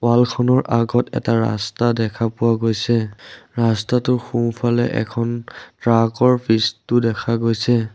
Wall খনৰ আগত এটা ৰাস্তা দেখা পোৱা গৈছে ৰাস্তাটোৰ সোঁফালে এখন ট্ৰাক ৰ পিছতো দেখা গৈছে।